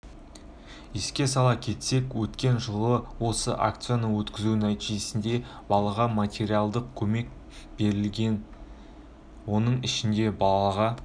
еске сала кетсек өткен жылы осы акцияны өткізу нәтижесінде балаға материалдық көмек берілген-ді оның ішінде балаға